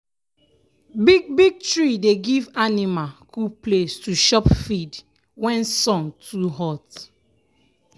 big big tree dey give anima cool place to chop feed wen sun too hot.